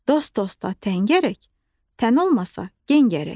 Dost dosta təngərək, tən olmasa gen gərək.